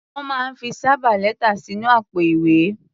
Wọ́n máa ń fi sábà lẹ́tà sínú àpò-ìwé.